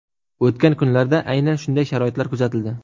O‘tgan kunlarda aynan shunday sharoitlar kuzatildi.